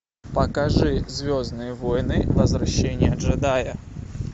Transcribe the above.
покажи звездные войны возвращение джедая